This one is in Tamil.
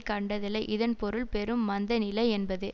கண்டதில்லை இதன் பொருள் பெரும் மந்த நிலை என்பதே